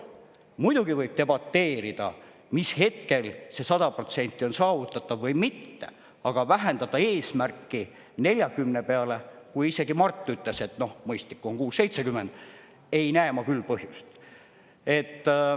Muidugi võib debateerida, mis hetkel see 100% on saavutatav või mitte, aga vähendada eesmärki 40% peale, kui isegi Mart ütles, et, noh, mõistlik on 60–70%, ei näe ma küll põhjust.